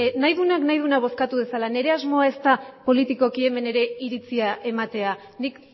nahi duenak nahi duena bozkatu dezala nire asmoa ez da politikoki hemen ere iritzia ematea nik